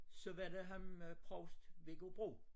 Så var der ham øh provst Viggo Bro